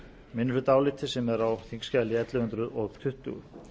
minnihlutaáliti sem er á þingskjali ellefu hundruð tuttugu